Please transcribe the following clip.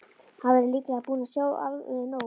Hann væri líklega búinn að sjá alveg nóg.